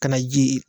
Ka na ji yen